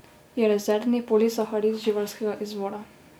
Je rezervni polisaharid živalskega izvora.